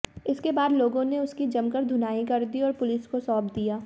इसके बाद लोगों ने उसकी जमकर धुनाई कर दी और पुलिस को सौंप दिया